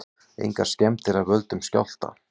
Engar skemmdir af völdum skjálfta